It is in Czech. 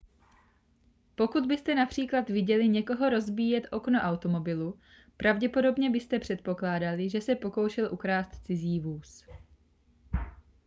pokud byste například viděli někoho rozbíjet okno automobilu pravděpodobně byste předpokládali že se pokoušel ukrást cizí vůz